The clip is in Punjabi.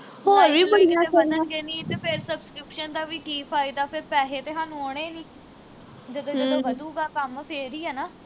like ਲੁਇਕ ਜੇ ਵਧਣਗੇ ਨੀ ਤੇ ਫਿਰ subscription ਦਾ ਵੀ ਕੀ ਫਾਇਦਾ ਫਿਰ ਪੈਹੇ ਤੇ ਹਾਨੂੰ ਆਉਣੇ ਨੀ ਜਦੋਂ ਜਦੋਂ ਵਧੂਗਾ ਕੰਮ ਫਿਰ ਈ ਆ ਨਾ